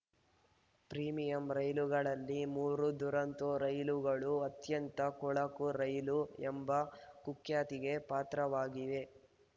premium ರೈಲುಗಳಲ್ಲಿ ಮೂರು ದುರಂತೋ ರೈಲುಗಳು ಅತ್ಯಂತ ಕೊಳಕು ರೈಲು ಎಂಬ ಕುಖ್ಯಾತಿಗೆ ಪಾತ್ರವಾಗಿವೆ